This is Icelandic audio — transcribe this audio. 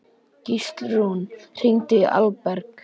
Gíslrún, hringdu í Alberg.